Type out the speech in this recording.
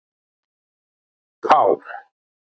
K